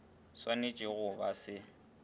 sw anetšego go ba se